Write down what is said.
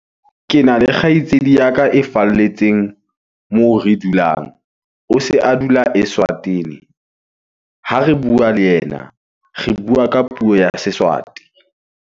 Kena le kgaitsedi ya ka e falletseng moo re dulang. O se a dula Eswatini. Ha re bua le ena, re bua ka puo ya Seswati.